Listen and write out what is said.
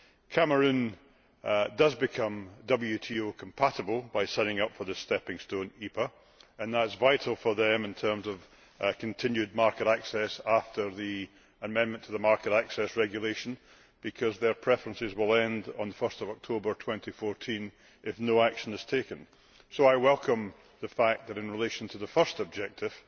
Cameroon does become WTO compatible by signing up for the stepping stone EPA, and that is vital for them in terms of continued market access after the amendment to the Market Access Regulation, because their preferences will end on 1 October 2014 if no action is taken. I welcome the fact that in relation to the first objective,